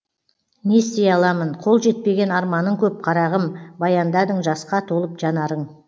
не істей аламын қол жетпеген арманың көп қарағым баяндадың жасқа толып жанарың